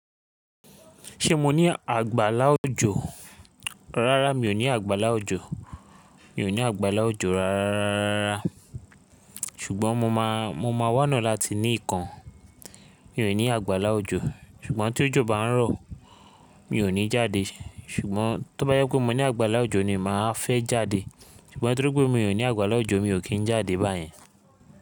Ṣé mo ní àgbàlá òjò? Rárá mi ò ní àgbàlá òjò. Mi ò ní àgbàlá òjò rárá. Ṣùgbọ́n mo máa, mo máa wá ona láti ní ìkan. Mi ò ní àgbàlá òjò ṣùgbọ́n tí òjò bá ń rọ̀ mi ò ní jáde. Ṣùgbọ́n tó bá yẹ kó mo ní àgbàlá òjò ni màá fẹ́ jáde. Ṣùgbọ́n torí pé mi ò ní àgbàlá òjò mi ò kí ń jáde báyìí.